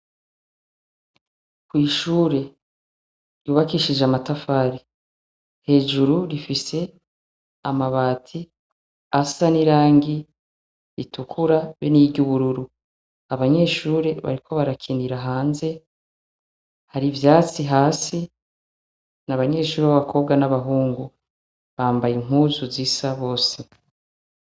Kw'ishure ryubakishije amatafari . Hejuru rifise amabati asa n'irangi ritukura be n'iry'ubururu. Abanyeshure bariko barakinira hanze har'ivyatsi hasi. N’abanyeshuri b'abakobwa n'abahungu. Bambaye impuzu zisa bose.